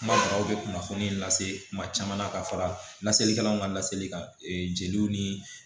Kuma banaw bɛ kunnafoni lase kuma caman ka fara laselikɛlaw ka laseli kan jeliw ni